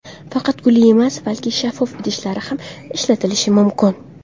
Faqat gulli emas, balki shaffof idishlar ham ishlatish mumkin.